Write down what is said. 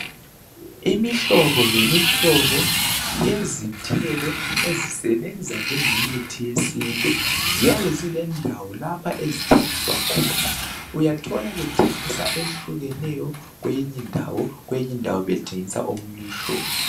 Imihlobo lemihlobo yezithelo ezisebenza njenge mithi yesintu ziyabe zilendawo lapha ezithengiswa khona uyathola bethengisa ehlukeneyo kwenye indawo kwenye indawo bethengisa omunye umhlobo